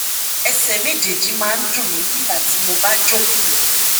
ẹsẹ méjèèjì máa ń dùn mí nígbà tí mo bá jókòó